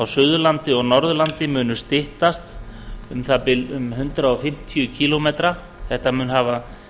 suðurlandi og norðurlandi munu styttast um um það bil hundrað fimmtíu kílómetra þetta mun hafa